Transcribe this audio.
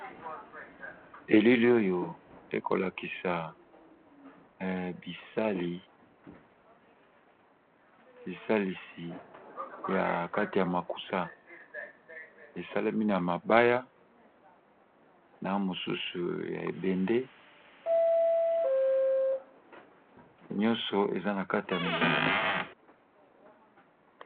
Elili oyo eko lakisa bisalisi ya kati ya makusa esalemi na mabaya na mosusu ya ebende nyonso eza na kati ya milangi.